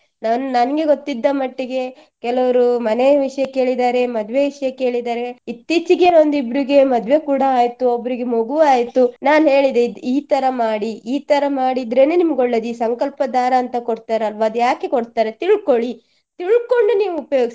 ನಾನ್ ನನ್ಗೆ ಗೊತ್ತಿದ್ದ ಮಟ್ಟಿಗೆ ಕೆಲವರು ಮನೆಯ ವಿಷಯ ಕೇಳಿದ್ದಾರೆ, ಮದ್ವೆ ವಿಷಯ ಕೇಳಿದ್ದಾರೆ ಇತ್ತೀಚಿಗೆ ಒಂದ್ ಇಬ್ರಿಗೆ ಮದ್ವೆ ಕೂಡಾ ಆಯ್ತು, ಒಬ್ರಿಗೆ ಮಗು ಆಯ್ತು ನಾನ್ ಹೇಳಿದೆ ಇದ್ ಈ ತರ ಮಾಡಿ ಈ ತರ ಮಾಡಿದ್ರೇನೆ ನಿಮ್ಗೆ ಒಳ್ಳೆದು ಈ ಸಂಕಲ್ಪ ದಾರ ಅಂತ ಕೊಡ್ತಾರಲ್ವ ಅದು ಯಾಕೆ ಕೊಡ್ತಾರೆ ತಿಳ್ಕೊಳ್ಳಿ ತಿಳ್ಕೊಂಡು ನೀವು ಉಪಯೋಗಿಸಿ.